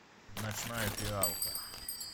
ночная фиалка